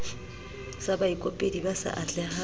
sa baikopedi ba sa atlehang